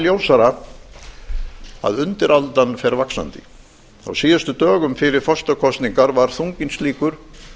ljósara að undiraldan fer vaxandi á síðustu dögum fyrir forsetakosningar var þunginn slíkur